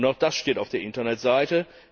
Auch das steht auf der Internetseite.